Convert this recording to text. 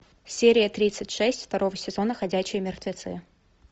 серия тридцать шесть второго сезона ходячие мертвецы